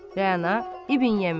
Rəana, İbn Yəminə.